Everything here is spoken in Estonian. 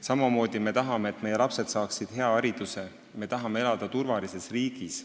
Samamoodi me tahame, et meie lapsed saaksid hea hariduse, ja me tahame elada turvalises riigis.